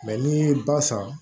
n'i ye ba san